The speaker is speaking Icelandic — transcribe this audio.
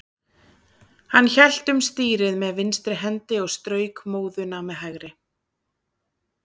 Hann hélt um stýrið með vinstri hendi og strauk móðuna með hægri.